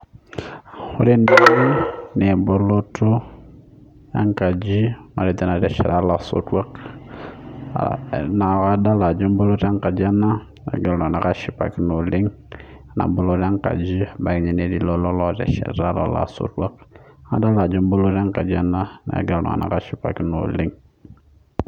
Ore tene naa eboloto enkaji natesheta elaisotuak nadolita Ajo eboloto enkaji nagira iltung'ana ashipakino oleng ena boloto enkaji ebaiki netii lelo otesheta lelo aisotuak adolita Ajo eboloto enkaji ena nagira iltung'ana ashipakino oleng